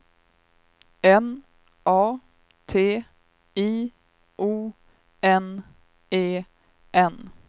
N A T I O N E N